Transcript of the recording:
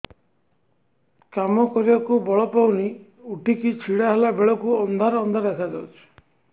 କାମ କରିବାକୁ ବଳ ପାଉନି ଉଠିକି ଛିଡା ହେଲା ବେଳକୁ ଅନ୍ଧାର ଅନ୍ଧାର ଦେଖା ଯାଉଛି